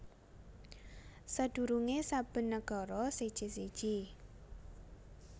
Sadurunge saben nagara séjé séjé